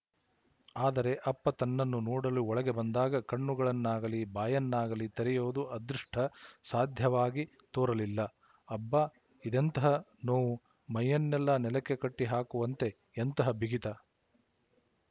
ಆದರೆ ಅಪ್ಪ ತನ್ನನ್ನು ನೋಡಲು ಒಳಗೆ ಬಂದಾಗ ಕಣ್ಣುಗಳನ್ನಾಗಲೀ ಬಾಯನ್ನಾಗಲೀ ತೆರೆಯುವುದು ಅದೃಷ್ಟ ಸಾಧ್ಯವಾಗಿ ತೋರಲಿಲ್ಲ ಅಬ್ಬಾ ಇದೆಂತಹ ನೋವು ಮೈಯನ್ನೆಲ್ಲ ನೆಲಕ್ಕೆ ಕಟ್ಟಿ ಹಾಕುವಂತೆ ಎಂತಹ ಬಿಗಿತ